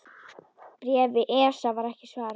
Bréfi ESA var ekki svarað.